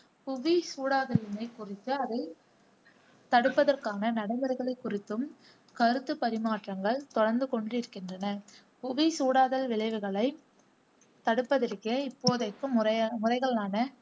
புவி சூடாதலினைக் குறித்து அதைத் தடுப்பதற்கான நடைமுறைகளை குறித்தும் கருத்துப் பரிமாற்றங்கள் தொடர்ந்துக் கொண்டிருக்கின்றன. புவி சூடாதல் விளைவுகளை தடுப்பதற்கே இப்போதைக்கு முறையா முறைகளான